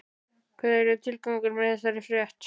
Hver er tilgangurinn með þessari frétt?